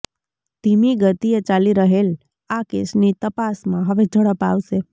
ધીમી ગતિએ ચાલી રહેલ આ કેસની તપાસમા હવે ઝડપ આવશે